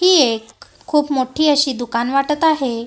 ही एक खूप मोठी अशी दुकान वाटत आहे.